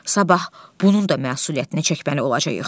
Sabah bunun da məsuliyyətinə çəkməli olacağıq.